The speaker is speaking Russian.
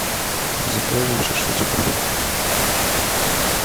закажем шашлычка